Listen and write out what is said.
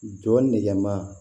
Jɔ nɛgɛma